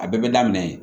A bɛɛ bɛ daminɛ yen